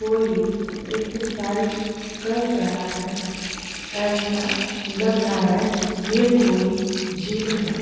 कोई एक्सरसाइज कर रहा है ऐसा लग रहा हैयह कोई जिम है।